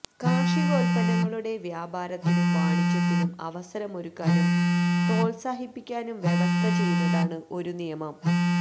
കാര്ഷികോത്പന്നങ്ങളുടെ വ്യാപാരത്തിനും വാണിജ്യത്തിനും അവസരമൊരുക്കാനും പ്രോത്സാഹിപ്പിക്കാനും വ്യവസ്ഥ ചെയ്യുന്നതാണ് ഒരു നിയമം